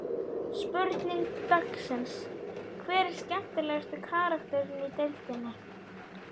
Spurning dagsins: Hver er skemmtilegasti karakterinn í deildinni?